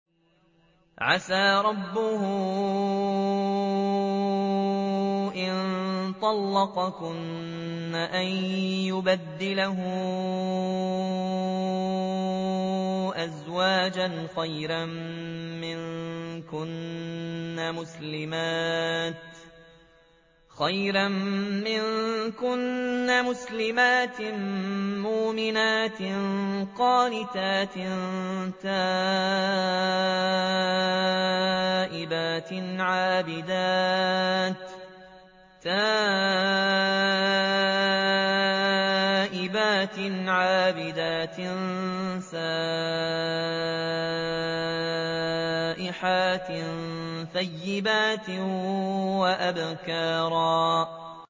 عَسَىٰ رَبُّهُ إِن طَلَّقَكُنَّ أَن يُبْدِلَهُ أَزْوَاجًا خَيْرًا مِّنكُنَّ مُسْلِمَاتٍ مُّؤْمِنَاتٍ قَانِتَاتٍ تَائِبَاتٍ عَابِدَاتٍ سَائِحَاتٍ ثَيِّبَاتٍ وَأَبْكَارًا